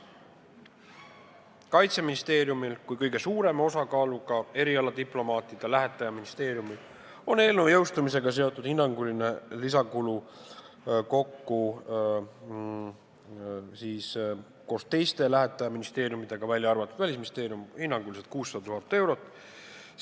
Kaitseministeeriumil kui kõige suurema osakaaluga erialadiplomaatide lähetajaministeeriumil on eelnõu seadusena jõustumisega seotud hinnanguline lisakulu kokku koos teiste lähetajaministeeriumidega, välja arvatud Välisministeerium, 600 000 eurot.